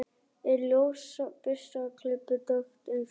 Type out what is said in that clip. En ljósa burstaklippta hárið var dökkleitt mikinn hluta sumarsins.